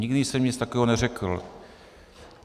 Nikdy jsem nic takového neřekl.